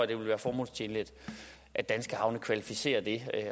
det vil være formålstjenligt at danske havne kvalificerer det